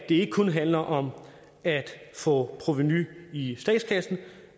ikke kun handler om at få provenu i statskassen